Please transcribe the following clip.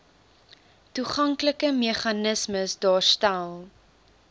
toeganklike meganismes daarstel